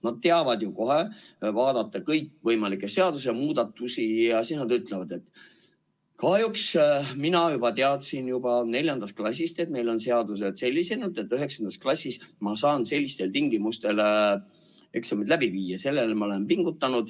Nad teavad kohe vaadata kõikvõimalikke seadusemuudatusi ja ütlevad, et mina teadsin juba neljandast klassist, et meil on seadused sellised, et üheksandas klassis ma saan sellistel tingimustel eksamid läbi viia, selleks ma olen pingutanud.